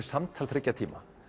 samtal þriggja tíma